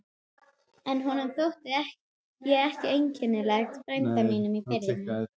En honum þótti ég ekkert einkennileg frænda mínum í Firðinum.